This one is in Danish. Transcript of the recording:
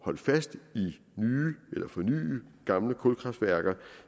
holde fast i eller forny gamle kulkraftværker